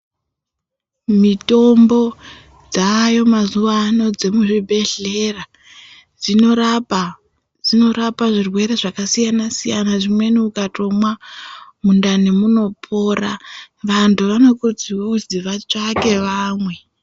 Mitombo dzavayo mazuva ano dzemuzvibhedhlera dzinorapa zvirwere zvakasiyana siyana hino ukatomwa mundani munopora antu anokurudzirwa kuzi vatsvake vamwe.